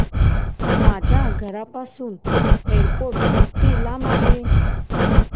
माझ्या घराहून एअरपोर्ट किती लांब आहे